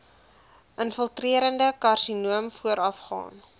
infiltrerende karsinoom voorafgaan